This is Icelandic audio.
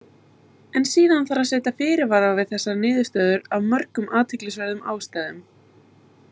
En síðan þarf að setja fyrirvara við þessa niðurstöðu af mörgum athyglisverðum ástæðum.